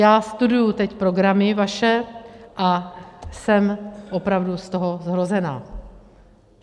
Já studuju teď programy vaše a jsem opravdu z toho zhrozená.